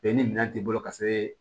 ni minɛn t'i bolo ka se